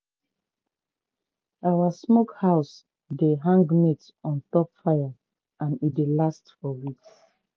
our smokehouse dey hang meat on top fire and e dey last for weeks.